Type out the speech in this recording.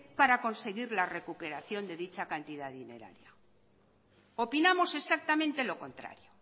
para conseguir la recuperación de dicha cantidad dineraria opinamos exactamente lo contrario